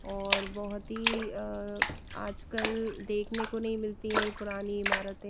और बहोत ही अ आजकल देखने को नहीं मिलती है पुरानी इमारते--